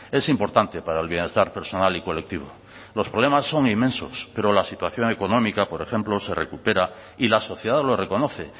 es importante para el bienestar personal y colectivo los problemas son inmensos pero la situación económica por ejemplo se recupera y la sociedad lo reconoce